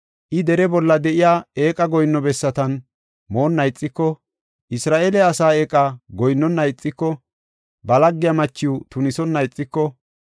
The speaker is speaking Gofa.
I dere bolla de7iya eeqa goyinno bessatan moonna ixiko, Isra7eele asaa eeqa goyinnona ixiko, ba laggiya machiw tunisonna ixiko,